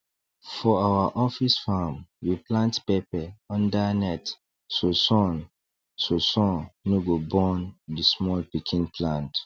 for our office farm we plant pepper under net so sun so sun no go burn the small pikin plant